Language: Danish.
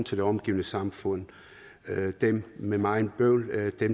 til det omgivende samfund dem med meget bøvl